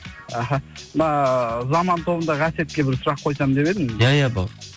іхі мына заман тобындағы әсетке бір сұрақ қойсам деп едім иә иә бауырым